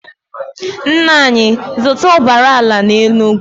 Nna anyị zụta ụbara ala na Enugu.